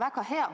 Aitäh!